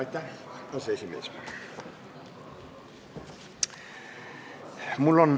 Aitäh, aseesimees!